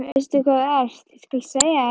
Veistu hvað þú ert, ég skal segja þér það.